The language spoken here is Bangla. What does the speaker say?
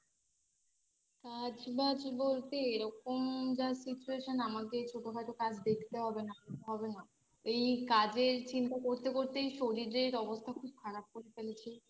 কাজ বাজ বলতে এরকম যা Situation আমাকে ছোটোখাটো কাজ দেখতে হবে নালে হবে না এই কাজের চিন্তা করতে করতেই শরীরের অবস্থা খুব খারাপ হয়ে গেছে